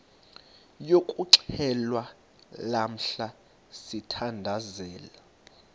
yokuxhelwa lamla sithandazel